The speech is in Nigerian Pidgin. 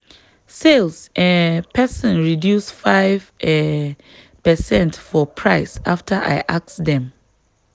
sales um person reduce five um percent for price after i ask dem.